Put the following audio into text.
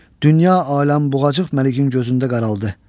Dünya aləm buğacıq məliyin gözündə qaraldı.